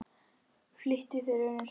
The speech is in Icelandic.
Flýttu þér, vinur.